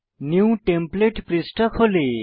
new template পৃষ্ঠা খোলে